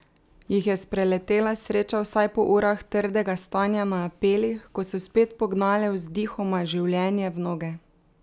Jih je spreletela sreča vsaj po urah trdega stanja na apelih, ko so spet pognale vzdihoma življenje v noge?